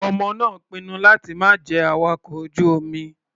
Ọmọ náà pinnu láti má jẹ́ awakọ̀ ojú-omi.